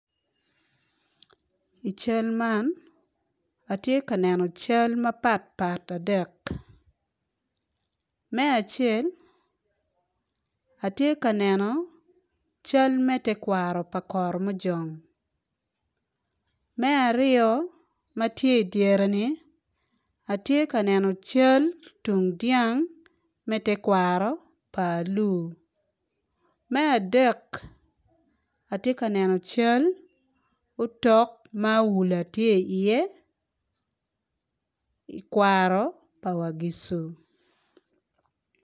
I cal man atye ka neno cal mapatpat adek me acel atye ka neno cal me tekwaro pa karamujong me aryo ma tye i dyere-ni atye ka neno cal tung dyang me tekwaro pa alur me adek atye ka neno cal otok ma awula tye iye i kwaro pa wagicu